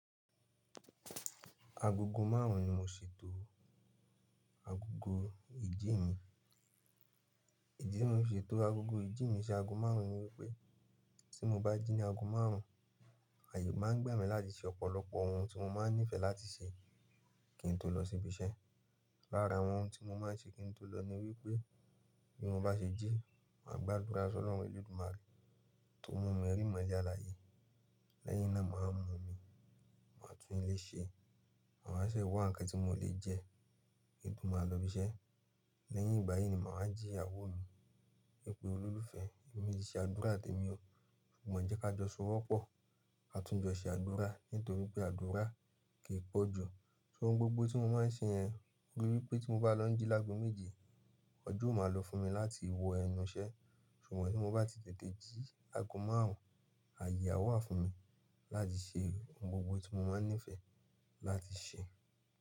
Agogo márùn un ni mo ṣètò agogo ìjí mi. Ìdí tí mo fi ṣe tò agogo ìjí mi ṣi agogo márùn ni wípé tí mo bá jí ní ago márùn, ààyè máa ń gba mí láti ṣe ọ̀pọ̀lọpọ̀ ohun tí mo máa ń nífẹ̀ẹ́ láti ṣe kí n tó lọ síbi iṣẹ́. Lára àwọn ohun tí mo máa ń ṣe kí n tó lọ ni wípé bí mo bá ṣe jí, màá gbàdúrà s'Ọlọ́run ẹ̀ledùmarè tó mú mi rí ìmọ̀le aláyé. Lẹ́yìn náà màá wa mu omi, màá tún ilé ṣe, màá wa ṣe wà ǹkan tí mo lè jẹ, ki n to máa lọ́ ibí iṣẹ́. Lẹ́yìn igbayi ni máa wa ji ìyàwó mi, wípé olólùfẹ́, èmi ti se àdúrà temi o. Ṣùgbọ́n jẹ́ kí a jọ sọwọ́pọ̀, ka tún jọ ṣe àdúrà nítorí pé àdúrà kì pọ̀jù. Ohun gbogbo tí mo máa ń ṣe yẹn rí wípé tí mo bá lọ́ j jí láàgò méje, ọjọ́ ó máa lọ fún mi láti wọ ẹnu iṣẹ́. Ṣùgbọ́n tí mo bá ti tètè jí ago márùn, ààyè a wà fún mi láti ṣe ohun gbogbo tí mo máa ń nífẹ̀ẹ́ láti ṣe.